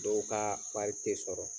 Dɔw kaa wari te sɔrɔ.